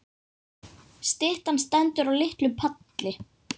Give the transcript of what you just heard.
Styttan stendur á litlum palli.